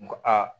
N ko aa